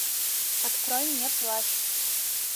открой мне плащ